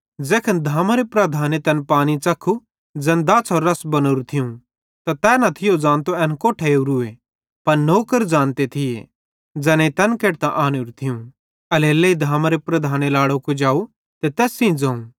ज़ैखन धामारे प्रधाने तैन पानी च़ख्खू ज़ैन दाछ़ेरो रस बनोरू थियूं तै न थियो ज़ानतो कि एन कोट्ठां ओरूए पन नौकर ज़ानते थिये ज़ैनेईं तैन केडतां आनेरू थियूं एल्हेरेलेइ धामारे प्रधाने लाड़ो कुजाव ते तैस सेइं ज़ोवं